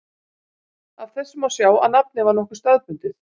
Af þessu má sjá að nafnið var nokkuð staðbundið.